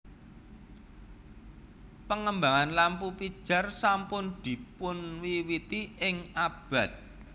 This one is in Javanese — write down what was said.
Pengembangan lampu pijar sampun dipunwiwiti ing abad